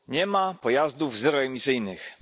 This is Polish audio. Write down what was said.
Panie Przewodniczący! Nie ma pojazdów zeroemisyjnych,